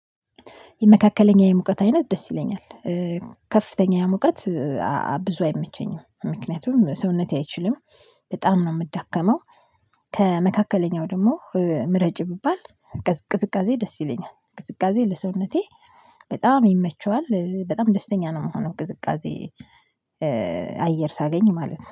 የመካከለኛው የሙቀት አይነት ደስ ይለኛል። ከፍተኛ የሙቀት ብዙ አይመቸኝም ምክንያቱም ሰውነቴ አይችልም በጣም ነው የምዳከመው። ከመካከለኛው ደግሞ ምረጭ ብባል ቅዝቃዜ ደስ ይለኛል። ቅዝቃዜ ለሰውነቴ በጣም ይመቸዋል በጣም ደስተኛ ነው የምሆነው ቅዝቃዜ። አየር ሳገኝ ማለት ነው